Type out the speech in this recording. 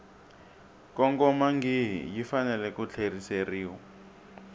kongomangihi yi fanele ku tlheriseriwa